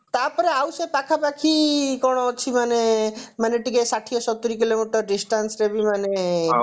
ତାପରେ ଆଉ ସେ ପାଖାପାଖି କଣ ଅଛି ମାନେ ମାନେ ଟିକେ ଷାଠିଏ ସତୁରୀ kilometer distance ରେ ବି ମାନେ